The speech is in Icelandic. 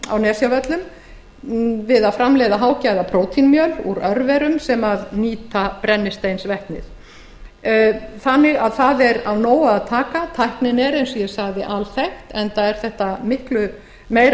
á nesjavöllum við að framleiða hágæðaprótínmjöl úr örverum sem nýta brennisteinsvetnið það er af nógu að taka tæknin er eins og ég sagði alþekkt enda er þetta miklu meira